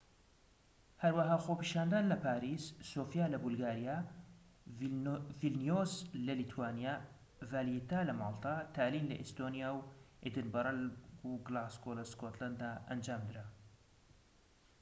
هەروەها خۆپیشاندان لە پاریس سۆفیا لە بولگاریا ڤیلنیۆس لە لیتوانیا ڤالێیتا لە ماڵتا تالین لە ئیستۆنیا و ئێدینبرە و گلاسگۆ لە سکۆتلەندا ئەنجام درا